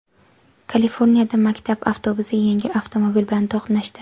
Kaliforniyada maktab avtobusi yengil avtomobil bilan to‘qnashdi.